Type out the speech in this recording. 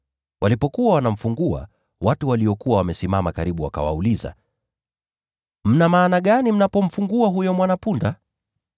Walipokuwa wanamfungua, watu waliokuwa wamesimama karibu wakawauliza, “Mna maana gani mnapomfungua huyo mwana-punda?”